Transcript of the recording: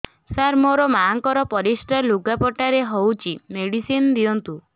ସାର ମୋର ମାଆଙ୍କର ପରିସ୍ରା ଲୁଗାପଟା ରେ ହଉଚି ମେଡିସିନ ଦିଅନ୍ତୁ